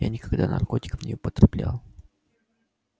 я никогда наркотиков не употреблял